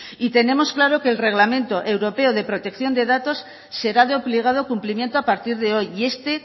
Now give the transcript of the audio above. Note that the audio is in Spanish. y tenemos claro que el reglamento europeo de protección de datos será de obligado cumplimiento a partir de hoy y este